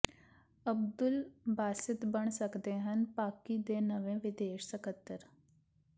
ਅਬਦੁਲ ਬਾਸਿਤ ਬਣ ਸਕਦੇ ਹਨ ਪਾਕਿ ਦੇ ਨਵੇਂ ਵਿਦੇਸ਼ ਸਕੱਤਰ